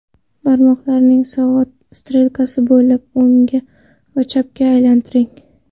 Barmoqlaringizni soat strelkasi bo‘ylab, o‘ngga va chapga aylantiring.